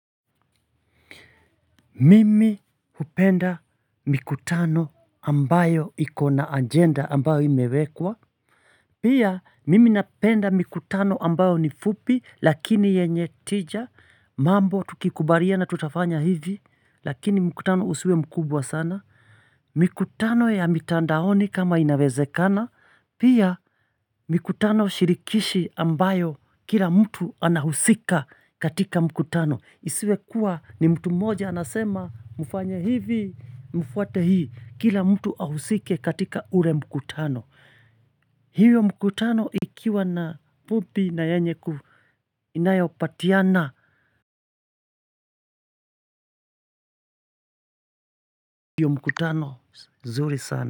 Mimi hupenda mikutano ambayo iko na agenda ambayo imewekwa. Pia mimi napenda mikutano ambayo ni fupi lakini yenye tija. Mambo tukikubaliana tutafanya hivi lakini mkutano husiwe mkubwa sana. Mikutano ya mitandaoni kama inawezekana. Pia mikutano shirikishi ambayo kila mtu anahusika katika mkutano. Isiwe kuwa ni mtu mmoja anasema mfanye hivi, mfuate hii. Kila mtu ahusike katika ule mkutano. Hiyo mikutano ikiwa na fupi na yenye ku inayopatiana. Hiyo mkutano zuri sana.